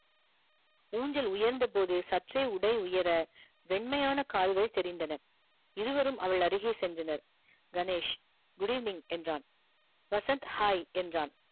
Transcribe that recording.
ஊஞ்சல் உயர்ந்த போது சற்றே உடை உயர வெண்மையான கால்கள் தெரிந்தன இருவரும் அவளருகே சென்றனர் கணேஷ் good evening என்றான் வசந்த் hi என்றான்